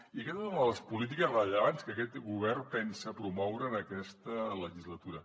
i aquesta és una de les polítiques rellevants que aquest govern pensa promoure en aquesta legislatura